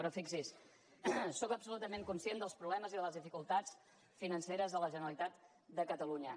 però fixi s’hi sóc absolutament conscient dels problemes i de les dificultats financeres de la generalitat de catalunya